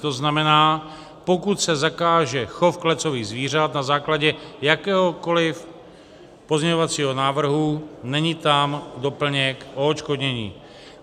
To znamená, pokud se zakáže chov klecových zvířat na základě jakéhokoliv pozměňovacího návrhu, není tam doplněk o odškodnění.